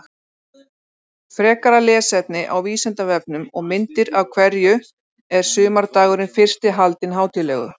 Frekara lesefni á Vísindavefnum og myndir Af hverju er sumardagurinn fyrsti haldinn hátíðlegur?